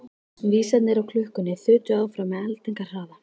Vísarnir á klukkunni þutu áfram með eldingarhraða.